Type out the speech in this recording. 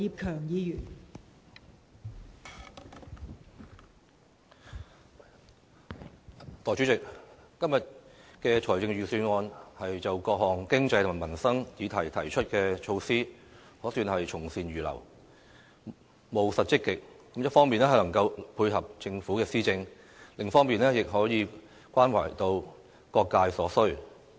代理主席，今年的財政預算案就各項經濟及民生議題提出的措施，可算是從善如流，務實積極，一方面能夠配合政府的施政，另一方面亦可以關懷到各界所需。